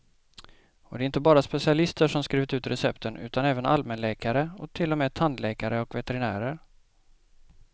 Och det är inte bara specialister som skrivit ut recepten, utan även allmänläkare och till och med tandläkare och veterinärer.